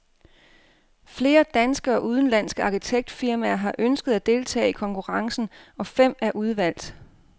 Flere danske og udenlandske arkitektfirmaer har ønsket at deltage i konkurrencen, og fem er udvalgt.